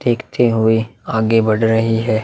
देखते हुए आगे बढ़ रही है।